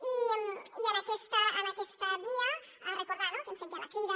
i en aquesta via recordar no que hem fet ja la crida